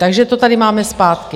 Takže to tady máme zpátky.